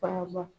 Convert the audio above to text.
Faama